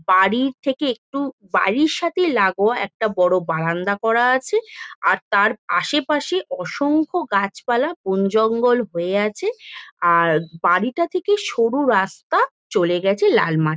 বাড়ির থেকে একটু বাড়ির সাথে লাগোয়া একটা বড়ো বারান্দা করা আছে। আর তার আশেপাশে অসংখ্য গাছপালা বনজঙ্গল হয়ে আছে। আর বাড়িটা থেকে সরু রাস্তা চলে গেছে লাল মা --